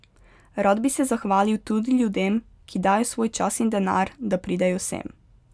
Rad bi se zahvalil tudi ljudem, ki dajo svoj čas in denar, da pridejo sem.